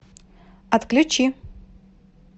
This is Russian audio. отключи